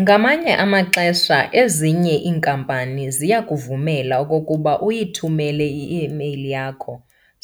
Ngamanye amaxesha ezinye iinkampani ziyakuvumela okokuba uyithumele i-email yakho